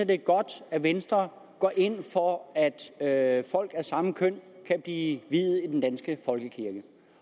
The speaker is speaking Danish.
det er godt at venstre går ind for at at folk af samme køn kan blive viet i den danske folkekirke